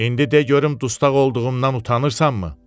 İndi de görüm dustaq olduğumdan utanırsanmı?